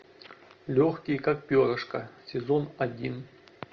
легкий как перышко сезон один